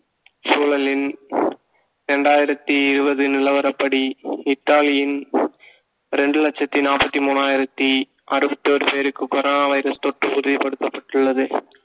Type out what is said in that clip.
சூழலின் இரண்டாயிரத்தி இருபது நிலவரப்படி இத்தாலியின் இரண்டு லட்சத்தி நாற்பத்தி மூனாயிரத்தி அறுபத்தி ஒரு பேருக்கு corona வைரஸ் தொற்று உறுதிப்படுத்தப்பட்டுள்ளது